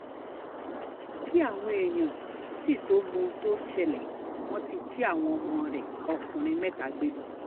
kí àwọn èèyàn sì tóó mọ ohun tó ń ṣẹlẹ̀ wọ́n ti jí àwọn ọmọ rẹ ọkùnrin mẹ́ta gbé lọ